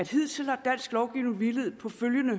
hidtil har dansk lovgivning hvilet på